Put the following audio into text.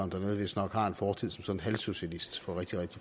dernede vistnok har en fortid som sådan en halvsocialist